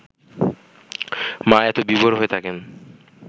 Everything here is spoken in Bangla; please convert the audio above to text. মা এত বিভোর হয়ে থাকেন